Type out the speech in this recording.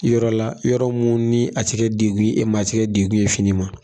Yɔrɔ la yɔrɔ mun ni a ti gɛ degu ye e ma a tigɛ degu ye fini ma